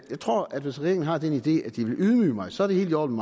jeg tror at hvis regeringen har den idé at de vil ydmyge mig så er det helt i orden